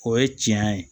O ye tiɲɛ ye